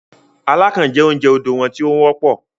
“Alákàn ” jẹ́ oúnjẹ odò wọn tí ó wọ́pọ̀.